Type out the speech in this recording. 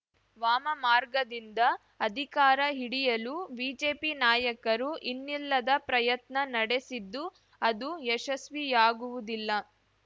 ವಾಮಮಾರ್ಗದಿಂದ ಅಧಿಕಾರ ಹಿಡಿಯಲು ಬಿಜೆಪಿ ನಾಯಕರು ಇನ್ನಿಲ್ಲದ ಪ್ರಯತ್ನ ನಡೆಸಿದ್ದು ಅದು ಯಶಸ್ವಿಯಾಗುವುದಿಲ್ಲ